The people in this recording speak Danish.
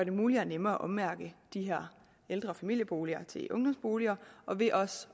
muligt og nemmere at ommærke de her ældre og familieboliger til ungdomsboliger og ved også